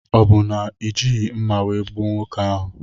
Ọ bụ na ijighi mma wee gbuo nwoke ahụ?